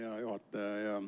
Hea juhataja!